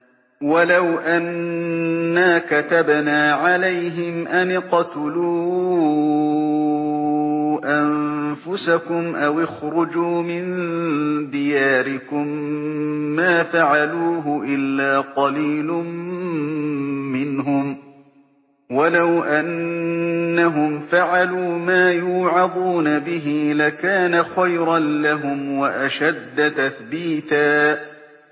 وَلَوْ أَنَّا كَتَبْنَا عَلَيْهِمْ أَنِ اقْتُلُوا أَنفُسَكُمْ أَوِ اخْرُجُوا مِن دِيَارِكُم مَّا فَعَلُوهُ إِلَّا قَلِيلٌ مِّنْهُمْ ۖ وَلَوْ أَنَّهُمْ فَعَلُوا مَا يُوعَظُونَ بِهِ لَكَانَ خَيْرًا لَّهُمْ وَأَشَدَّ تَثْبِيتًا